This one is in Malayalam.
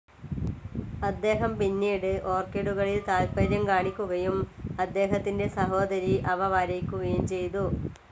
അദ്ദേഹം പിന്നീട് ഓർക്കിഡുകളിൽ താൽപ്പര്യം കാണിക്കുകയും അദ്ദേഹത്തിന്റെ സഹോദരി അവ വരയ്ക്കുകയും ചെയ്തു.